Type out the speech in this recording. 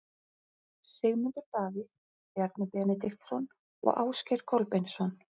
Sigmundur Davíð, Bjarni Benediktsson og Ásgeir Kolbeinsson.